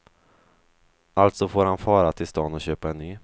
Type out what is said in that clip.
Alltså får han fara till stan och köpa en ny.